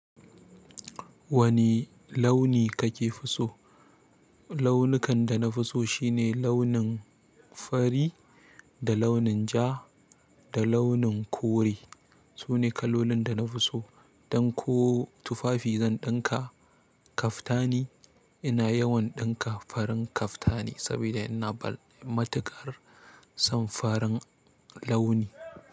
Wani launi kake fi so? Launukan da na fi so shine launin fari, da launin ja, da launin kore. Su ne kalolin da na fi so. Don ko tufafi dan ɗinka, kaftani. Ina yawan ɗinka farin kaftani saboda ina bal matuƙar son farin launi.